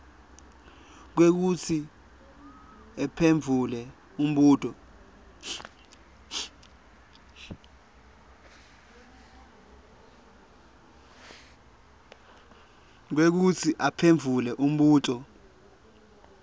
kwekutsi uphendvule umbuto